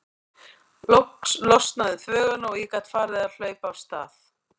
Loks losnaði um þvöguna og ég gat farið að hlaupa af stað.